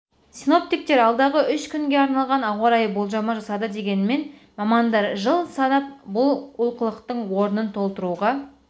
синоптиктер алдағы үш күнге арналған ауарайы болжамы жасады дегенмен мамандар жыл санап бұл олқылықтың орнын толтыруға